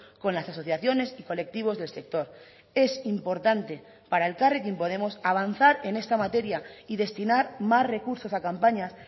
con las asociaciones y colectivos del sector es importante para elkarrekin podemos avanzar en esta materia y destinar más recursos a campañas